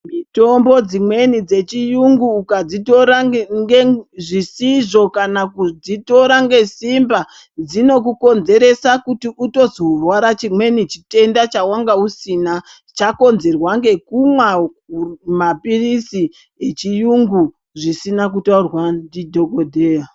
Mitombo dzimweni dzechirungu ukadzitora zvisizvo kana kudzitora ngesimba dzino kukonzeresa kuti Uto zorwara chimweni chitenda chawanga usina chakonzerwa ngekumwa mapirizi echirungu zvisina kutaurwa ndi dhokodheya.